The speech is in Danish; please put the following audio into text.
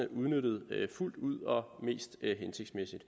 udnyttet fuldt ud og mest hensigtsmæssigt